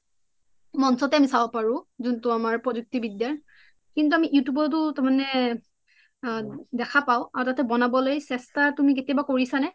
চাব পাৰু জুনতু আমাৰ প্ৰোজুক্তি বিদ্দা কিন্তু আমি you tube ত ও তাৰমানে দেখা পাও আৰু তাতে তুমি বনাব লে চেষ্টা কৰিছা নে?